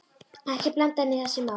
Ekki blanda henni í þessi mál.